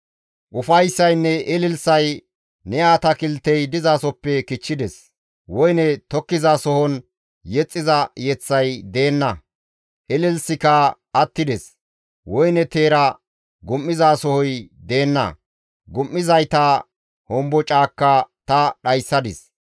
Ufayssaynne ililisay ne atakiltey dizasoppe kichchides; woyne tokkizasohon yexxiza yeththay deenna; ilisikka attides. Woyne teera gum7izasohoy deenna; gum7izayta hombocaakka ta dhayssadis.